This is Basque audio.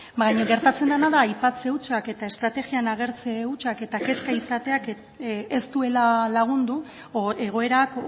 baina gertatzen dena da aipatzen hutsak eta estrategian agertze hutsak eta kezka izateak ez duela lagundu egoerak